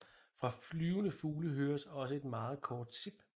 Fra flyvende fugle høres også et meget kort sip